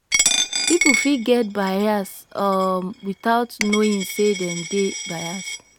people fit get biase um without knowing sey dem dey bias